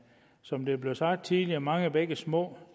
som det blev sagt tidligere mange bække små